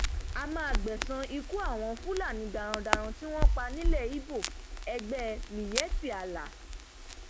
a máa gbẹsan ikú àwọn fúlàní darandaran tí wọn pa nílẹ ibo ẹgbẹ miyetti allah